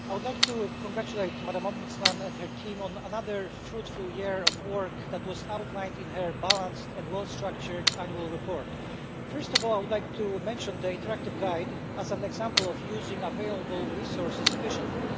Mr President, I would like to a congratulate Madam Ombudsman and her team on another fruitful year of work that was outlined in her balanced and well structured annual report. First of all I would like to mention the interactive guide as an example of using available resources efficiently.